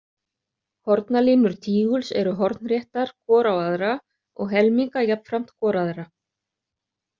Hornalínur tíguls eru hornréttar hvor á aðra og helminga jafnframt hvor aðra.